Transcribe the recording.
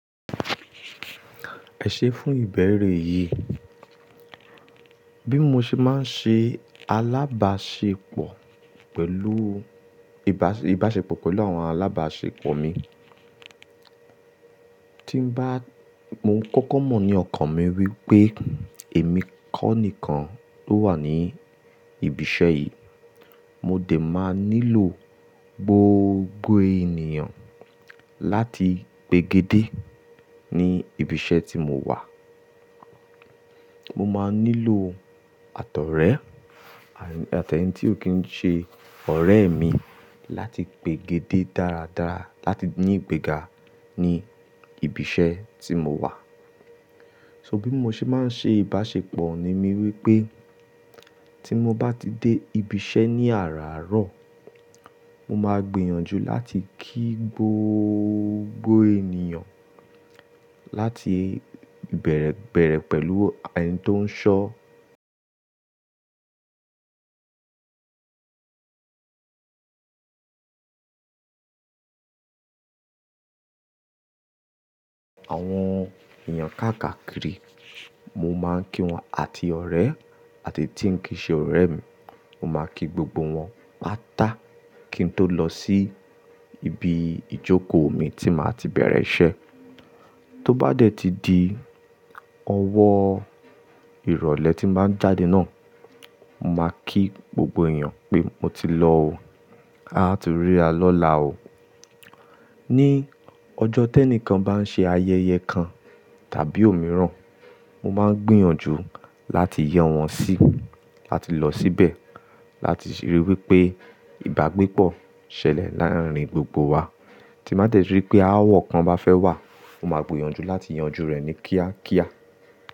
Ẹ̀ṣẹ̀ fún ìbẹ̀rẹ̀ yìí, bí mo ṣe máa ń ṣe alábáṣepọ̀ pẹ̀lú, ìbáṣe- ìbáṣepọ̀ pẹ̀lú àwọn alábáṣepọ̀ mi, tí bá, mo ń kọ́kọ́ mọ̀ ní ọkàn mi wípé èmi kọ́ nìkan ló wà ní ibi iṣẹ́ yìí, mo dè máa nílò gbogbo ènìyàn láti pègédé ní ibi iṣẹ́ tí mo wà. Mo máa nílò àtọrẹ, àti ẹni tí ó kì ń ṣe ọ̀rẹ́ mi láti pègédé dáradára láti ní ìgbéga ní ibi iṣẹ́ tí mo wà. So bí mo ṣe máa ń ṣe ìbáṣepọ̀ ni mí wípé tí mo bá ti dé ibi iṣẹ́ ní àràárọ̀, mo máa gbìyànjú láti kí gbogbo ènìyàn láti bẹ̀rẹ̀ bẹ̀rẹ̀ pẹ̀lú ẹni tó ń ṣọ́. Àwọn èèyàn káàkà kiri, mo máa ń kí wọn àti ọ̀rẹ́ àti tí ń kì í ṣe ọ̀rẹ́ mi, mo máa kí gbogbo wọn pátá kí n tó lọ sí ibi ìjókòó mi tí màá ti bẹ̀rẹ̀ iṣẹ́. Tó bá dẹ̀ ti di ọwọ́ ìrọ̀lẹ́ tí bàá ń jáde náà, mo máa kí gbogbo èèyàn pé mo ti lọ o, a áa tun rí ara lọ́la o. Ní ọjọ́ tẹ́ní kan bá ń ṣe ayẹyẹ kan tàbí òmíràn, mo máa ń gbìyànjú láti yẹ wọn sí láti lọ síbẹ̀, láti rí wípé ìbágbépọ̀ ṣẹlẹ̀ láàárín gbogbo wa. Tí bàá dẹ̀ ti rí pé aáwọ̀ kan bá fẹ́ wá, mo máa gbìyànjú láti yanjú rẹ̀ ní kíákíá.